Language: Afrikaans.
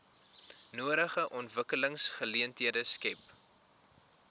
nodige ontwikkelingsgeleenthede skep